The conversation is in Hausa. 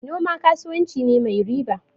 Noma kasuwanci ne mai riba.